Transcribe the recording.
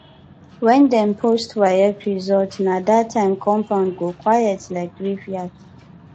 when dem post waec result na that time compound go quiet like graveyard